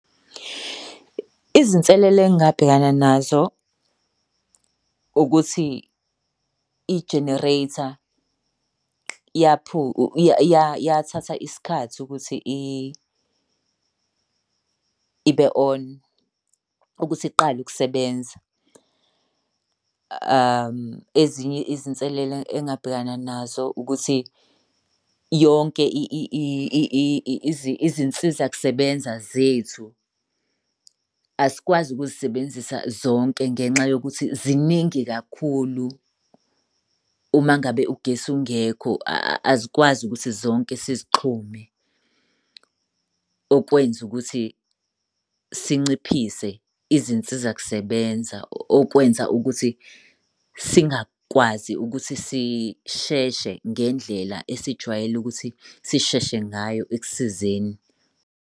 Izinselela engabhekana nazo ukuthi i-generator yathatha isikhathi ukuthi ibe on, ukuthi iqale ukusebenza. Ezinye izinselela engabhekana nazo ukuthi yonke izinsiza kusebenza zethu asikwazi ukuzisebenzisa zonke ngenxa yokuthi ziningi kakhulu uma ngabe ugesi ungekho, azikwazi ukuthi zonke sizixhume. Okwenza ukuthi sinciphise izinsiza kusebenza. Okwenza ukuthi singakwazi ukuthi sisheshe ngendlela esijwayele ukuthi sisheshe ngayo ekusizeni.